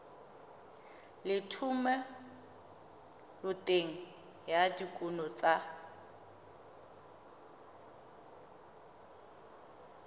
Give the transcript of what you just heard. le thomeloteng ya dikuno tsa